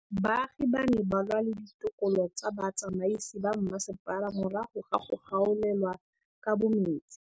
Baagi ba ne ba lwa le ditokolo tsa botsamaisi ba mmasepala morago ga go gaolelwa kabo metsi.